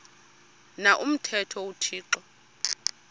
na umthetho uthixo